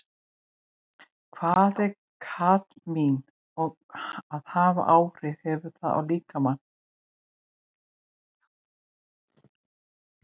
Hvað er kadmín og hvaða áhrif hefur það á líkamann?